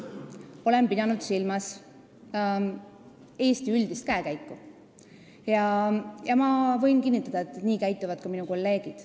Ma olen pidanud silmas Eesti üldist käekäiku ja võin kinnitada, et nii käituvad ka minu kolleegid.